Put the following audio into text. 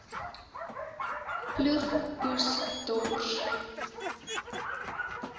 ploeg oes dors